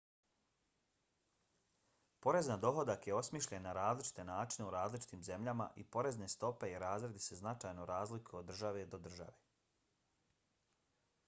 porez na dohodak je osmišljen na različite načine u različitim zemljama i porezne stope i razredi se značajno razlikuju od države do države